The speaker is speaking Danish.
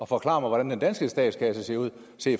forklare hvordan den danske statskasse ser ud